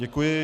Děkuji.